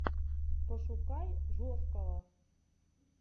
пошукай жоского